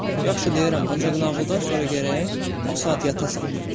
Yaxşı, deyirəm, ancaq nağıldan sonra gərək o saat yatasan.